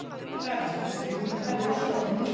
Það er alltaf stutt í hvellinn hjá okkur.